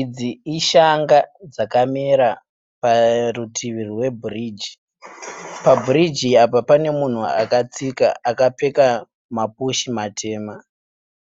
Idzi ishanga dzakamera parutivi rwebhirigi, pabhirigi apa pane munhu akatsika akapfeka mapushi matema.